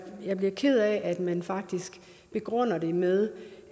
jeg bliver ked af at man faktisk begrunder det med